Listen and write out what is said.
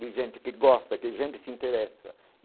De gente que gosta, que gente que se interessa e.